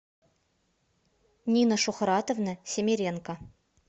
нина шухратовна семеренко